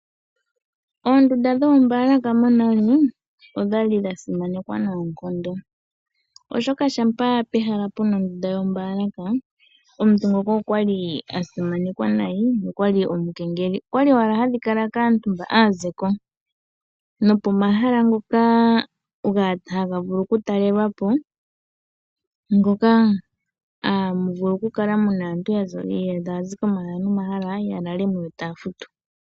Oondunda dhoombaalaka monooli odha li dha simanekwa noonkondo oshoka shampa pehala pena ondunda yombaalaka, omuntu ngoka okwa li asimanekwa nayi nokwa li omukengeli. Okwa li owala hadhi kaantu mba aazeko nopo mahala ngoka haga vulu oku talelwapo, ngoka hamuvulu oku kala aantu yaza nenge taya zi ko mahala no mahala ya lalemo yo taya futu.